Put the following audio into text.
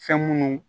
Fɛn munnu